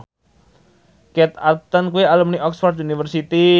Kate Upton kuwi alumni Oxford university